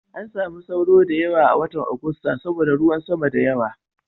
An samu sauro da yawa a watan Agusta saboda ruwan sama da yawa.